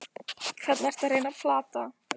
Hvern ertu að reyna að plata?